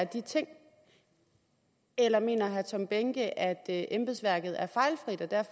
de ting eller mener herre tom behnke at embedsværket er fejlfrit og at der